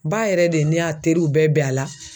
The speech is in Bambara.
Ba yɛrɛ de n'y'a teriw bɛ bɛn a la.